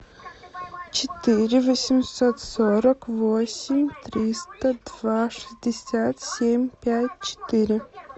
четыре восемьсот сорок восемь триста два шестьдесят семь пять четыре